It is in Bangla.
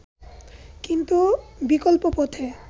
কিন্তু বিকল্প পথে